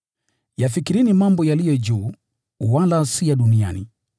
Yafikirini mambo yaliyo juu, wala si ya duniani.